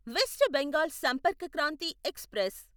west Bengal Sampark Kranti express